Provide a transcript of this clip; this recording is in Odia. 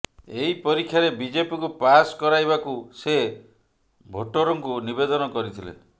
ଏହି ପରୀକ୍ଷାରେ ବିଜେପିକୁ ପାସ୍ କରାଇବାକୁ ସେ ଭୋଟର୍ଙ୍କୁ ନିବେଦନ କରିଥିଲେ